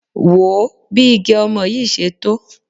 Wò ó bí igẹ̀ ọmọ yìí ṣe tó.